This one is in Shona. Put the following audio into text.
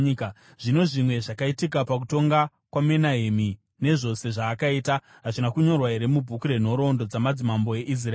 Zvino zvimwe zvakaitika pakutonga kwaMenahemi, nezvose zvaakaita, hazvina kunyorwa here mubhuku renhoroondo dzamadzimambo eIsraeri?